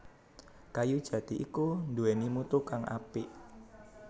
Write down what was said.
Kayu jati iku nduwèni mutu kang apik